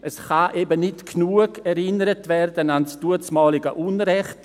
Es kann eben nicht genug erinnert werden an das damalige Unrecht.